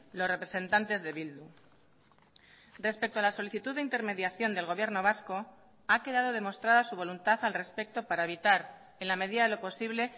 los representantes de bildu respecto a la solicitud de intermediación del gobierno vasco ha quedado demostrada su voluntad al respecto para evitar en la medida de lo posible